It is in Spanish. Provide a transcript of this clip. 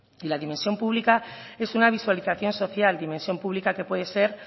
y la dimensión pública es una visualización social dimensión pública que puede ser